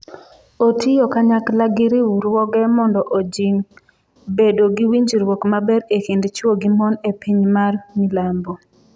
Otiyo kanyakla gi riwruoge mondo ojing’ bedo gi winjruok maber e kind chwo gi mon e piny ma milambo.